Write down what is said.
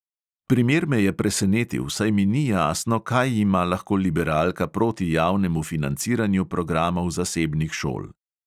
Primer me je presenetil, saj mi ni jasno, kaj ima lahko liberalka proti javnemu financiranju programov zasebnih šol.